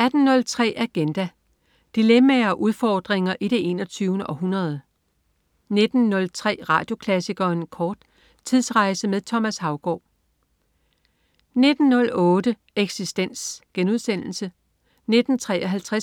18.03 Agenda. Dilemmaer og udfordringer i det 21. århundrede 19.03 Radioklassikeren kort. Tidsrejse med Thomas Haugaard 19.08 Eksistens* 19.53